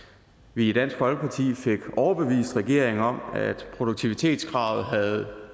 vi i dansk folkeparti fik overbevist regeringen om at produktivitetskravet havde